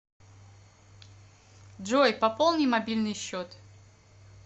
джой пополни мобильный счет